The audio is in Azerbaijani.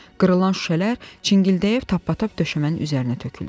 Qırılan şüşələr çingildəyib tappatəp döşəmənin üzərinə töküldü.